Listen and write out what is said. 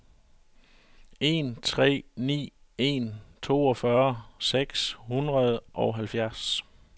en tre ni en toogfyrre seks hundrede og halvfjerds